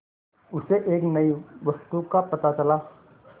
उसे एक नई वस्तु का पता चला